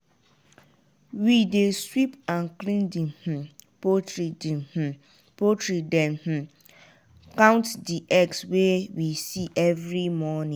we dey sweep and clean di um poultry di um poultry den um count di eggs wey we see every morning.